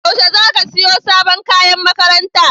Yaushe za ka siya sabon kayan makaranta?